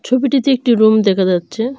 ছবিটিতে একটি রুম দেখা যাচ্ছে।